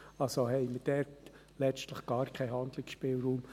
Also haben wir dort letztlich gar keinen Handlungsspielraum.